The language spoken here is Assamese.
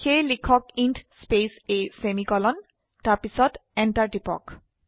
সেয়ে লিখক ইণ্ট স্পেস a সেমিকোলন তাৰপিছত Enter টিপক